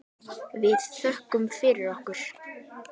Við þökkum fyrir okkur.